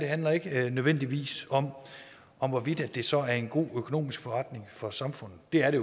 handler ikke nødvendigvis om om hvorvidt det så er en god økonomisk forretning for samfundet det er det